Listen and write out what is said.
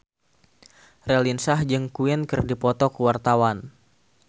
Raline Shah jeung Queen keur dipoto ku wartawan